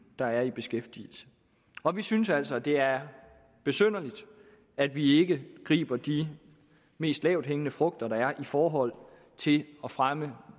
der er i beskæftigelse og vi synes altså at det er besynderligt at vi ikke griber de mest lavthængende frugter der er i forhold til at fremme